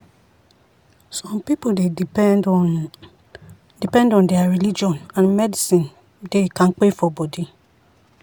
some people dey depend on depend on their religion and medicine dey kampe for body.